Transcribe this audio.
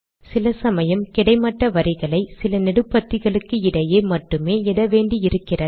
சில சமயம் கிடைமட்ட வரிகளை சில நெடுபத்திகளுக்கு இடையே மட்டுமே இட வேண்டி இருக்கிறது